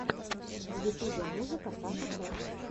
в ютубе музыка саша кэт